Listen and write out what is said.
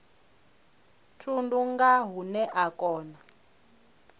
thundu nga hune a kona